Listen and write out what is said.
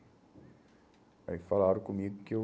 Aí falaram comigo que eu...